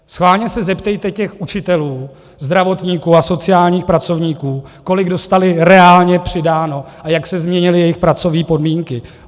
Schválně se zeptejte těch učitelů, zdravotníků a sociálních pracovníků, kolik dostali reálně přidáno a jak se změnily jejich pracovní podmínky.